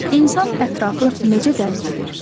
İnsan ətrafı necə dərk edir?